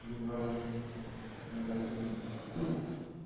января месяца магазин